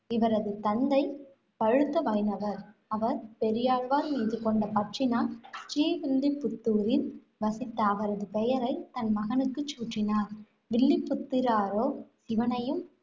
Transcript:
இவரது தந்தை பழுத்த வைணவர். அவர் பெரியாழ்வார் மீது கொண்ட பற்றினால், ஸ்ரீவில்லிப்புத்தூரில் வசித்த அவரது பெயரை தன் மகனுக்கு சூட்டினார். வில்லிப்புத்தூராரோ சிவனையும்